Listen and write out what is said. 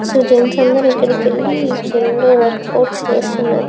So gents అందరూ ఇక్కడకెళ్లి gym లో వర్క్ ఔట్స్ చేస్తున్నారు.